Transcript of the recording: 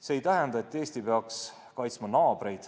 See ei tähenda, et Eesti peaks kaitsma naabreid.